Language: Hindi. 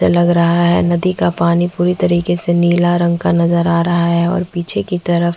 लग रहा है नदी का पानी पूरी तरीके से नीला रंग का नजर आ रहा है और पीछे की तरफ --